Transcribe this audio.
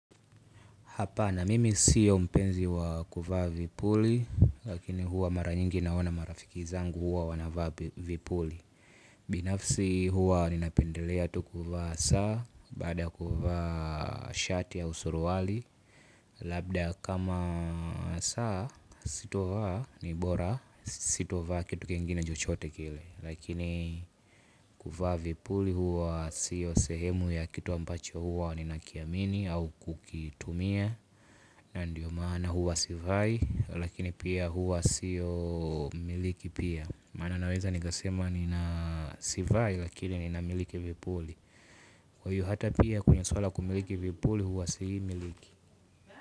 Hapana mimi sio mpenzi wa kuvaa vipuli lakini huwa mara nyingi naona marafiki zangu huwa wanavaa vipuli. Binafsi huwa ninapendelea tu kuvaa saa baada kuvaa shati au suruali. Labda kama saa sitovaa ni bora si tovaa kitu kingine chochote kile. Lakini kuvaa vipuli huwa sio sehemu ya kitu ambacho huwa ninakiamini au kukitumia. Na ndiyo maana huwa sivai lakini pia huwa sio miliki pia. Maana naweza nika sema nina sivai lakini nina miliki vipuli. Kwa hiyo hata pia kwenye swala la kumiliki vipuli huwa siimiliki.